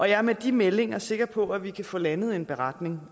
jeg er med de meldinger sikker på at vi kan få landet en beretning